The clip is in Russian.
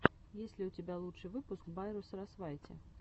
есть ли у тебя лучший выпуск байру сарасвайти